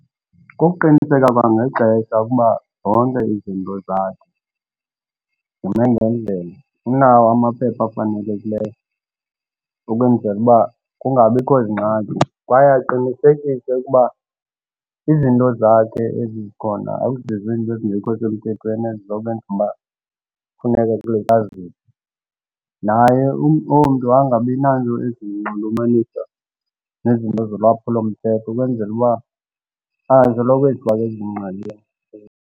Kukuqiniseka kwangexesha ukuba zonke izinto zakhe zime ngendlela. Unawo amaphepha afanelekileyo ukwenzela uba kungabikho zingxaki. Kwaye aqinisekise ukuba izinto zakhe ezi zikhona akuzizo izinto ezingekho semthethweni ezikwenza uba kufuneka kulityaziwe. Naye omntu angabi nanto ezinxulumanisa nezinto zolwaphulomthetho ukwenzela uba angasoloko ezithola esengxakini.